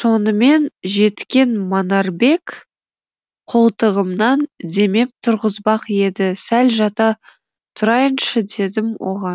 сонымен жеткен манарбек қолтығымнан демеп тұрғызбақ еді сәл жата тұрайыншы дедім оған